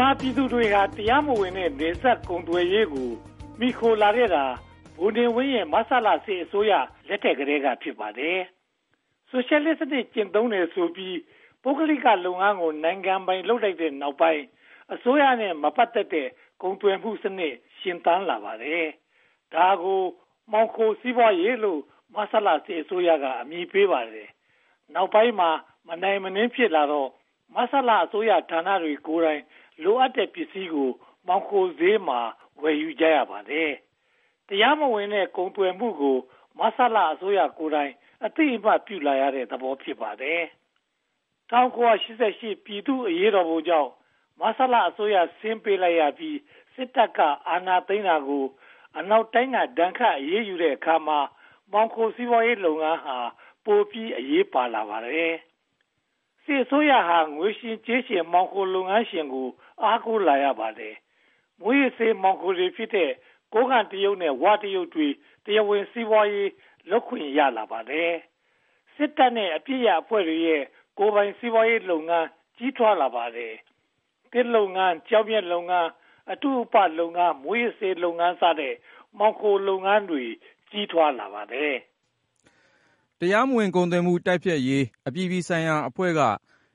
မာပြည်သူတွေဟာ တရားမဝင်တဲ့ နယ်စပ်ကုန်သွယ်ရေးကို မှီခိုလာခဲ့တာ ဗိုလ်နေဝင်းရဲ့ မဆလစစ်အစိုးရလက်ထက်ကတည်းက ဖြစ်ပါတယ်။ ဆိုရှယ်လစ်စနစ် ကျင့်သုံးတယ်ဆိုပြီး ပုဂ္ဂလိကလုပ်ငန်းကို နိုင်ငံပိုင်လုပ်လိုက်တဲ့နောက်ပိုင်း အစိုးရနဲ့ မပတ်သက်တဲ့ ကုန်သွယ်မှုစနစ် ရှင်သန်လာပါတယ်။ ဒါကို မှောင်ခိုစီးပွားရေးကို မဆလအစိုးရက အမည်ပေးပါတယ်။ နောက်ပိုင်းမှာ မနိုင်မနင်းဖြစ်လာတော့ မဆလအစိုးရဌာနတွေကိုယ်တိုင် လိုအပ်တဲ့ပစ္စည်းကို မှောင်ခိုဈေးမှာ ဝယ်ယူကြရပါတယ်။ တရားမဝင်တဲ့ ကုန်သွယ်မှုကို မဆလအစိုးရကိုယ်တိုင်က အသိအမှတ်ပြုလာတဲ့သဘော ဖြစ်နေပါတယ်။ ၁၉၈၈ ပြည်သူ့အရေးတော်ပုံကြောင့် မဆလအစိုးရ ဆင်းပေးလိုက်ရပြီး စစ်တပ်က အာဏာသိမ်းတာကို အနောက်တိုင်းက ဒဏ်ခတ်အရေးယူတဲ့အခါမှာ မှောင်ခိုစီးပွားရေးလုပ်ငန်းဟာ ပိုပြီးအရေးပါလာပါတယ်။ စစ်အစိုးရာ ငွေရှင်ကြေးရှင် မှောင်ခိုလုပ်ငန်းရှင်ကို အားကိုးလာရပါတယ်။ မူးယစ်ဆေးအပစ်ရပ်အဖွဲ့တွေရဲ့ ကိုယ်ပိုင်စီးပွားရေးလုပ်ငန်း ကြီးထွားလာပါတယ်။ သစ်လုပ်ငန်း၊ ကျောက်မျက်လုပ်ငန်း၊ အတုအပလုပ်ငန်း၊ မူးယစ်ဆေးလုပ်ငန်းစတဲ့ မှောင်ခိုလုပ်ငန်းတွေ ကြီးထွားလာပါတယ်။ တရားမဝင်ကုန်သွယ်မှု တိုက်ဖျက်ရေးအပြည်ပြည်ဆိုင်ရာအဖွဲ့က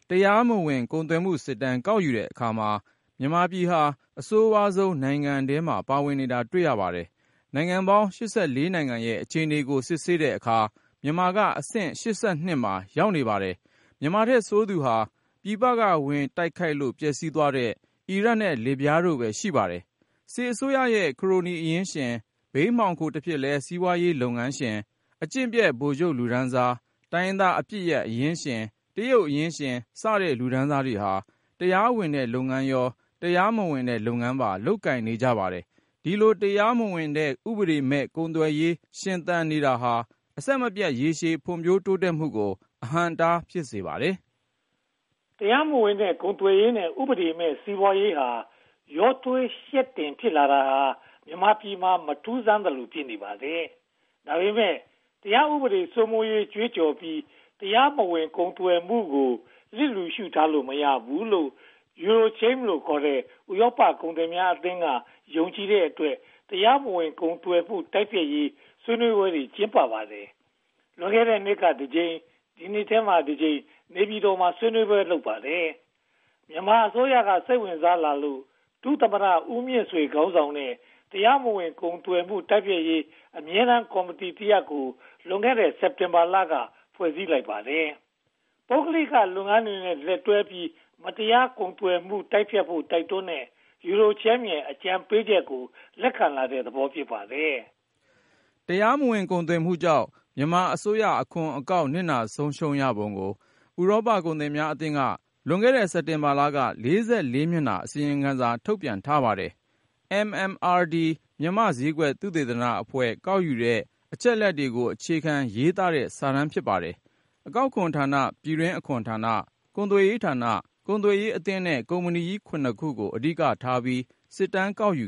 တရားမဝင်ကုန်သွယ်မှုစစ်တမ်း ကောက်ယူတဲ့အခါမှာ မြန်မာနိုင်ငံဟာ အဆိုးဝါးဆုံးနိုင်ငံထဲမှာ ပါဝင်နေတာ တွေ့ရပါတယ်။ နိုင်ငံပေါင်း (၈၄) နိုင်ငံရဲ့ အခြေအနေကို စစ်ဆေးတဲ့အခါမှာ မြန်မာနိုင်ငံက အဆင့် (၈၂) မှာ ရှိနေပါတယ်။ မြန်မာပြည်ထက်ဆိုးသူက ပြည်ပက ဝင်ရောက်တိုက်ခိုက်လို့ ပျက်ဆီးသွားတဲ့ အီရတ်နဲ့ လစ်ဗျားနိုင်ငံတို့ပဲ ဖြစ်ပါတယ်။ စစ်အစိုးရရဲ့ ခရိုနီအရင်းရှင်၊ ဘိန်းမှောင်ခိုတဖြစ်လဲ စီးပွားရေးလုပ်ငန်းရှင်၊ အကျင့်ပျက်ဗိုလ်ချုပ်လူတန်းစား၊ တိုင်းရင်းသားအပစ်ရပ်အရင်ရှင်း၊ တရုတ်အရင်းရှင်စတဲ့ လူတန်းစားတွေဟာ တရားဝင်တဲ့လုပ်ငန်း၊ တရားမဝင်တဲ့လုပ်ငန်းများကို လုပ်ကိုင်နေပါတယ်။ ဒီလိုတရားမဝင်တဲ့ ဥပဒေမဲ့ ကုန်သွယ်ရေးရှင်သန်နေတာဟာ အဆင်မပြတ် ရေရှည်ဖွံ့ဖြိုးတိုးတက်မှုကို အဟန့်အတား ဖြစ်စေပါတယ်။ တရားမဝင်ကုန်သွယ်ရေးနဲ့ ဥပဒေမဲ့စီးပွားရေး ရောထွေးယှက်တင်ဖြစ်နေတာဟာ မြန်မာပြည်မှာ မထူးဆန်းသလို ဖြစ်နေပါတယ်။ ဒါပေမဲ့ တရားဥပဒေစိုးမိုးရေးကြွေးကြော်ပြီး တရားမဝင်ကုန်သွယ်မှုကို လစ်လျူရှုထားလို့ မရဘူးလို့ EuroCham (ခေါ်) ဥရောပကုန်သည်ကြီးများအသင်းက ယုံကြည်တဲ့အတွက် တရားမဝင်ကုန်သွယ်မှုတိုက်ဖျက်ရေး ဆွေးနွေးပွဲတွေ ကျင်းပကြပါတယ်။ လွန်ခဲ့တဲနှစ်က တစ်ကြိမ်၊ ဒီနှစ်ထဲမှာ တစ်ကြိမ် နေပြည်တော်မှာ ဆွေးနွေးပွဲတွေ လုပ်ကြပါတယ်။ မြန်မာအစိုးရက စိတ်ဝင်စားလာလို့ ဒုသမ္မတဦးမြင့်ဆွေ ခေါင်းဆောင်တဲ့ တရားမဝင်ကုန်သွယ်မှု တိုက်ဖျက်ရေး အမြဲတမ်းကော်မတီတရပ်ကို လွန်ခဲ့တဲ့ စက်တင်ဘာလက ဖွဲ့စည်းလိုက်ပါတယ်။ ပုဂ္ဂလိကလုပ်ငန်းတွေနဲ့ လက်တွဲပြီး တရားမဝင်ကုန်သွယ်မှုကို တိုက်ဖျက်ဖို့ တိုက်တွန်းတဲ့ EuroCham ရဲ့ အကြံပေးချက်ကို လက်ခံလာတဲ့သဘော ဖြစ်ပါတယ်။ တရားမဝင်ကုန်သွယ်မှုကြောင့် မြန်မာအစိုးရအခွန်အကောက် နစ်နာဆုံးရှုံးရပုံကို ဥရောပကုန်သည်ကြီးများအသင်းက လွန်ခဲ့တဲ့ စက်တင်ဘာလက (၄၄) မျက်နှာ အစီရင်ခံစာ ထုတ်ပြန်ထားပါတယ်။ MMRD မြန်မာ့ဈေးကွက်သုတေသနအဖွဲ့ ကောက်ယူတဲ့အချက်အလက်တွေကို အခြေခံရေးသားထားတဲ့ စာတမ်းဖြစ်ပါတယ်။ အကောက်ခွန်ဌာန၊ ပြည်တွင်းအခွန်ဌာန၊ ကုန်သွယ်ရေးဌာန၊ ကုန်သွယ်ရေးအသင်းနဲ့ ကုမ္ပဏီကြီး (၇) ခုကို အဓိကထားပြီး စစ်တမ်းကောက်ယူ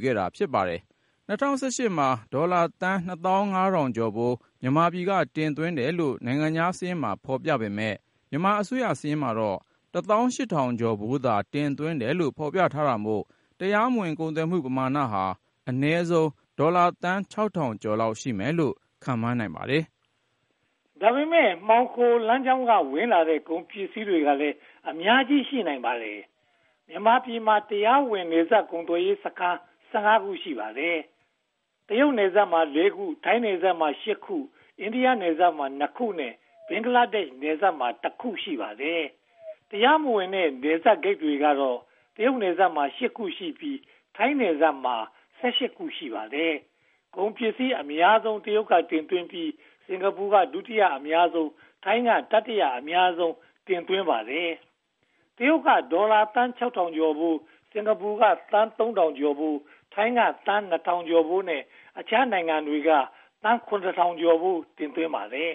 ပါတယ်။ ၂၀၁၈ မှာ ဒေါ်လာသန်း (၂၅၀၀၀) ကျော်ဖိုး မြန်မာပြည်က တင်သွင်းတယ်လို့ နိုင်ငံခြားစာရင်းမှာ ဖော်ပြပေမယ့် မြန်မာအစိုးရစာရင်းမှာတော့ ဒေါ်လာသန်း (၁၈၀၀၀) ကျော်ဖိုးသာ တင်သွင်းတယ်လို့ ဖော်ပြထားတာမို့ တရားမဝင်ကုန်သွယ်မှုပမာဏဟာ အနည်းဆုံးဒေါ်လာသန်း (၆၀၀၀) ကျော်လောက်ရှိမယ်လို့ ခန့်မှန်းနိုင်ပါတယ်။ ဒါပေမဲ့ မှောင်ခိုလမ်းကြောင်းက ဝင်လာတဲ့ ကုန်ပစ္စည်းတွေကလည်း အများကြီးရှိနိုင်ပါတယ်။ မြန်မာပြည်မှာ တရားမဝင်နယ်စပ်ကုန်သွယ်ရေးစခန်း (၁၅) ခု ရှိပါတယ်။ တရုတ်နယ်စပ်မှာ (၄) ခု၊ ထိုင်းနယ်စပ်မှာ (၈) ခု၊ အိန္ဒိယနယ်စပ်မှာ (၂) ခုနဲ့ ဘင်္ဂလားဒေ့ရှ်နယ်စပ်မှာ (၁) ခု ရှိပါတယ်။ တရားမဝင်တဲ့ နယ်စပ်ဂိတ်တွေကတော့ တရုတ်နယ်စပ်မှာ (၈) ခုရှိပြီး၊ ထိုင်းနယ်စပ်မှာ (၁၈) ခု ရှိပါတယ်။ ကုန်ပစ္စည်းအများဆုံး (၃၃) ရာခိုင်နှုန်း တရုတ်ပြည်က တင်သွင်းပြီး၊ စင်္ကာပူက ဒုတိယအများဆုံး (၁၆) ရာခိုင်နှုန်း၊ ထိုင်းက တတိယအများဆုံး (၁၂) ရာခိုင်နှုန်း တင်သွင်းပါတယ်။ တရုတ်က ဒေါ်လာသန်း (၆၀၀၀) ကျော်ဖိုး၊ စင်္ကာပူကသန်း (၃၀၀၀) ကျော်ဖိုး၊ ထိုင်းက သန်း (၂၀၀၀) ကျော်ဖိုးနဲ့ အခြားနိုင်ငံတွေက သန်း (၇၀၀၀) ကျော်ဖိုး တင်သွင်းကြပါတယ်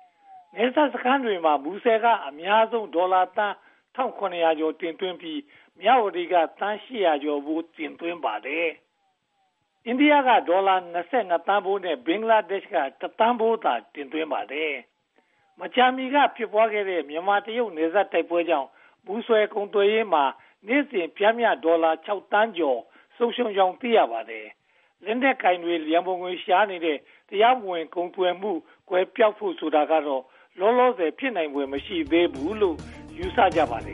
။ နယ်စပ်စခန်းတွေထဲမှာ မူဆယ်က အများဆုံး ဒေါ်လာသန်း (၁၇၀၀) ကျော် တင်သွင်းပြီး၊ မြဝတီက ဒေါ်လာသန်း (၈၀၀) ကျော်ဖိုး တင်သွင်းပါတယ်။ အိန္ဒိယက ဒေါ်လာ (၂၂) သန်းဖိုးနဲ့ ဘင်္ဂလားဒေ့ရှ်က တစ်သန်းဖိုးသာ တင်သွင်းပါတယ်။ မကြာမီက ဖြစ်ပွားခဲ့တဲ့ မြန်မာ-တရုတ် နယ်စပ်တိုက်ပွဲတွေကြောင့် မူဆယ်ကုန်သွယ်ရေးမှာ နေ့စဉ်ပျမ်းမျှ ဒေါ်လာသန်း (၆) သန်းကျော် ဆုံးရှုံးကြောင်း သိရပါတယ်။ လက်နက်ကိုင်တွေ ရန်ပုံငွေရှာနေတဲ့ တရားမဝင် ကုန်သွယ်မှုကွယ်ပျောက်ဖို့ကတော့ လောလောဆယ် ဖြစ်နိုင်ဖွယ် မရှိသေးဘူးလို့ ယူဆကြပါတယ်